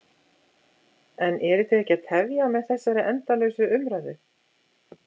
En eruð þið ekki að tefja með þessari endalausu umræðu?